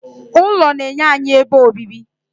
ụlọ na-enye anyị ebe obibi